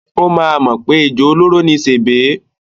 Ó máa mọ̀ pé ejò olóró ni sèbé.